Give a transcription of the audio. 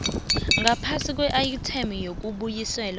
ngaphasi kweayithemu yokubuyiselwa